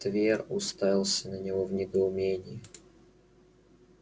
твер уставился на него в недоумении